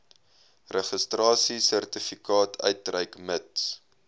registrasiesertifikaat uitreik mits